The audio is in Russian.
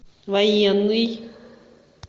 военный